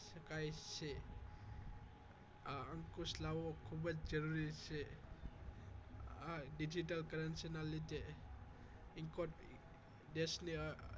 શકાય છે આ અંકુશ લાવવો ખુબજ જરૂરી છે આ digital currency ના લીધે કોઈ પણ દેશ ની